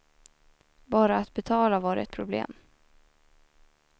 Bara att betala var ett problem.